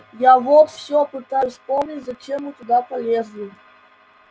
я вот всё пытаюсь вспомнить зачем мы туда полезли